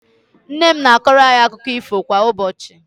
Nnenne m na-akọrọ anyị akụkọ ífò kwa ụbọchị.